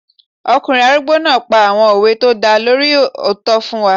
Ọkùnrin arúgbó náà pa àwọn òwe tó dá lórí òótọ́ fún wa